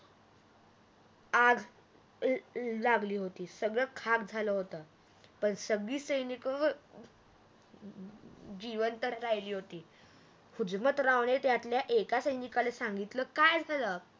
आग लागली होती सगळ खाग झाल होत पण सगळी सैनिक जीवंत राहिली होती हुजमतरावने त्यातल्या एका सैनिकाला सांगितल काय झाल